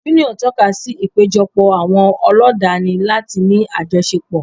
Yúníọ̀n tọ́kasí ìpéjọpọ̀ àwọn ọlọ́danni láti ní àjọṣepọ̀